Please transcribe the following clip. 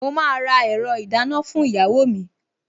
Mo máa ra ẹ̀rọ ìdáná fún ìyàwó mi